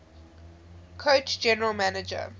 coach general manager